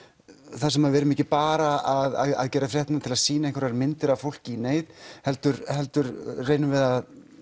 þar sem við erum ekki bara að gera fréttirnar til þess að sýna einhverjar myndir af fólki í neyð heldur heldur reynum við að